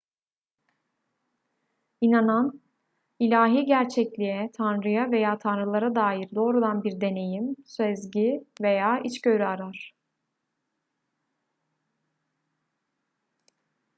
i̇nanan ilahi gerçekliğe/tanrıya veya tanrılara dair doğrudan bir deneyim sezgi veya içgörü arar